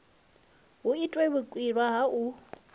hu itwe vhukwila ha u